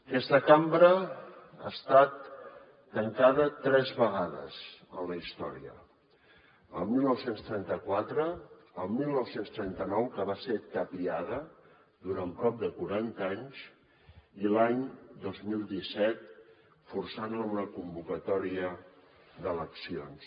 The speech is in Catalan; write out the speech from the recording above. aquesta cambra ha estat tancada tres vegades en la història el dinou trenta quatre el dinou trenta nou que va ser tapiada durant prop de quaranta anys i l’any dos mil disset forçant la a una convocatòria d’eleccions